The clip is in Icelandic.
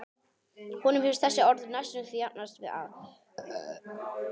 Honum finnst þessi orð næstum því jafnast á við ástarjátningu.